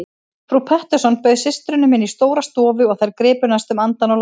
Frú Pettersson bauð systrunum inn í stóra stofu og þær gripu næstum andann á lofti.